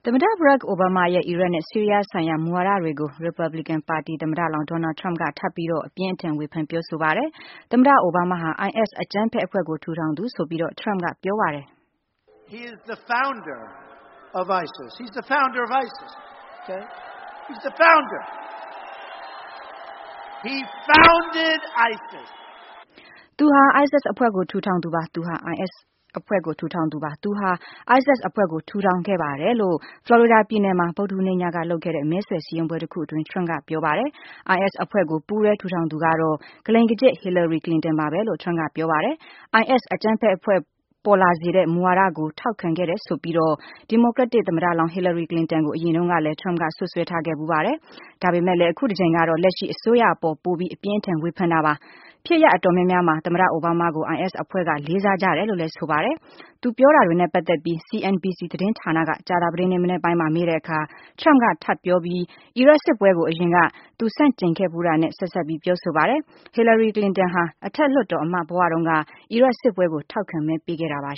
တ ဘရာ့ခ် အိုဘားမားရဲ့ အီရတ်နဲ့ဆီးရီးယားဆိုင်ရာ မူဝါဒတွေကို ရီပတ်ဘလီကန်သမ္မတလောင်း Donald Trump က ထပ်ပြီးတော့ အပြင်းအထန် ဝေဖန်ပြောဆိုပါတယ်။ သမ္မတအိုဘားမားဟာ IS အကြမ်းဖက်အဖွဲ့ကို ထူထောင်သူ ဆိုပြီးတော့ Trump က ပြောပါတယ်။ “သူဟာ ISIS အဖွဲ့ကို ထူထောင်သူပါ။ သူဟာ ISIS အဖွဲ့ကို ထူထောင်သူပါ။ သူဟာ ISIS အဖွဲ့ကို ထူထောင်ခဲ့ပါတယ်။” လို့ ဖလော်ရီဒါပြည်နယ်မှာ ဗုဒ္ဓဟူးနေ့ညကလုပ်တဲ့ မဲဆွယ်စည်းရုံးပွဲတခုအတွင်း Trump က ပြောပါတယ်။ IS အဖွဲ့ကို ပူးတွဲ ထူထောင်သူကတော့ “ကလိမ်ကကျစ်” ဟီလာရီ ကလင်တန်ပါပဲလို့လည်း Trump ကပြောပါတယ်။ IS အကြမ်းဖက်အဖွဲ့ ပေါ်လာစေတဲ့ မူဝါဒတွေကို ထောက်ခံခဲ့တယ်ဆိုပြီးတော့ ဒီမိုကရက်တစ်သမ္မတလောင်း ဟီလာရီ ကလင်တန်ကို အရင်တုန်းကလည်း Trump က စွပ်စွဲထားဖူးပါတယ်။ ဒါပေမဲ့လည်း အခုတကြိမ်ကတော့ လက်ရှိအစိုးရအပေါ် ပိုပြီး အပြင်းအထန် ဝေဖန်တာပါ။ ဖြစ်ရပ်အတော်များများမှာ သမ္မတအိုဘားမားကို IS အဖွဲ့က လေးစားကြတယ်လို့လည်း ဆိုပါ တယ်။ သူပြောခဲ့တာတွေနဲ့ပတ်သက်ပြီး CNBC သတင်းဌာနက ကြာသပတေးနေ့မနက်ပိုင်းမှာ မေးတဲ့အခါ Trump က ထပ်ပြောပြီး အီရတ်စစ်ပွဲကို အရင်က သူဆန့်ကျင်ခဲ့ဖူးတာနဲ့ ဆက်စပ်ပြောဆိုပါတယ်။ ဟီလာရီ ကလင်တန်ဟာ အထက်လွှတ်တော်အမတ် ဘဝတုန်းက အီရတ်စစ်ပွဲကို ထောက်ခံမဲပေးခဲ့တာပါ